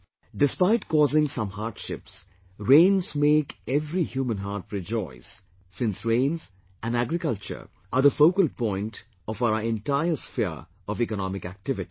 Despite causing some hardships, rains make every human heart rejoice since rains, and agriculture, are the focal point of our entire sphere of economic activities